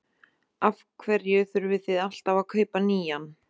Af hverju þurfið þið alltaf að kaupa nýjan?